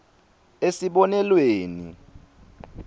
esibonelweni